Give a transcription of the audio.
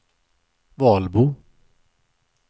Valbo